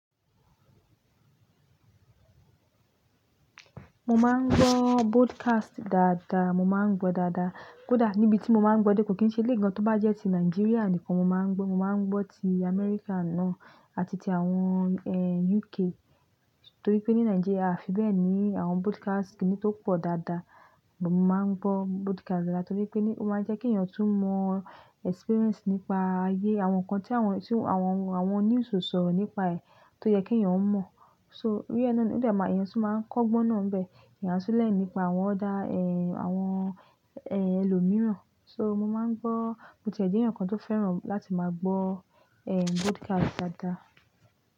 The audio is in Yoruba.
Mo máa ń gbọ́ broadcast dáadáa, mo máa ń gbọ́ dáadáa. Kódà níbi tí mo máa ń gbọ́ dẹ̀ kò kí n ṣe le gan. Tó bá jẹ́ ti Nàìjíríà nìkan mo máa ń gbọ́, mo máa ń gbọ́ ti America náà àti ti àwọn, eh, UK. Torí pé ní Nàìjíríà fi bẹ́ẹ̀ ni àwọn broadcast kì í tó pọ̀ dáadáa. Mo máa ń gbọ́ broadcast dáadáa torí pé ni ó máa ń jẹ́ kí èèyàn tún mọ experience nípa ayé, àwọn nǹkan tí àwọn, tí àwọn, àwọn news sọ̀rọ̀ nípa ẹ̀ tó jẹ́ kí èèyàn mọ̀. So tòrí náà ló dára, èèyàn tún máa ń kọ́gbọ́n náà bẹ́ẹ̀. Ìyànsẹ́lẹ̀ nípa àwọn ọ̀dà, eh, àwọn, eh, ẹlòmíràn. So mo máa ń gbọ́, mo ti jẹ́ èèyàn kan tó fẹ́ràn láti máa gbọ́, eh, broadcast dáadáa.